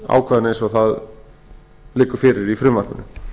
ákvæðinu eins og það liggur fyrir í frumvarpinu